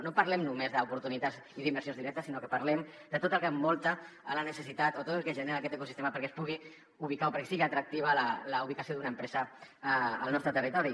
no parlem només d’oportunitats i d’inversions directes sinó que parlem de tot el que envolta la necessitat o tot el que genera aquest ecosistema perquè es pugui ubicar o perquè sigui atractiva la ubicació d’una empresa al nostre territori